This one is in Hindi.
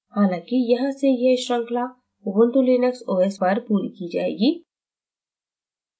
हालाँकि यहाँ से यह शृंखला ubuntu linux os पर पूरी की जाएगी